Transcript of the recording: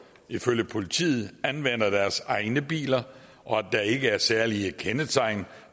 ifølge politiet anvender deres egne biler og at der ikke er særlige kendetegn